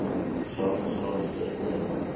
dieselfde graad voorgekom